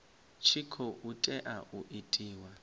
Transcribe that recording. tshi khou tea u itiwa